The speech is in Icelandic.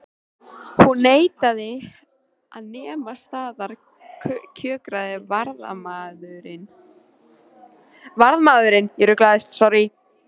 Hún neitaði að nema staðar kjökraði varðmaðurinn.